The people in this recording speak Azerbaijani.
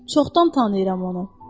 Çoxdan tanıyıram onu.